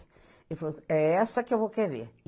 Ele falou, é essa que eu vou querer.